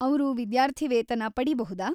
ಅವ್ರು ವಿದ್ಯಾರ್ಥಿವೇತನ ಪಡೀಬಹುದಾ?